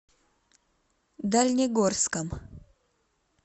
дальнегорском